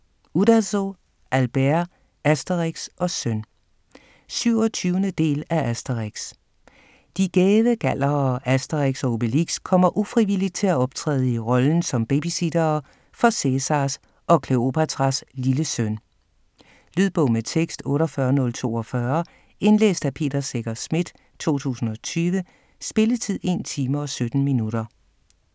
Uderzo, Albert: Asterix & Søn 27. del af Asterix. De gæve gallere Asterix og Obelix kommer ufrivilligt til at optræde i rollen som babysittere for Cæsars og Kleopatras lille søn. Lydbog med tekst 48042 Indlæst af Peter Secher Schmidt, 2020. Spilletid: 1 time, 17 minutter.